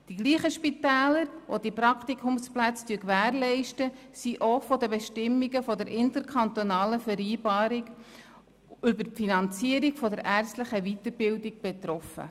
Die gleichen Spitäler, welche die Praktikumsplätze gewährleisten, sind auch von den Bestimmungen der interkantonalen Vereinbarung über die Finanzierung der ärztlichen Weiterbildung betroffen.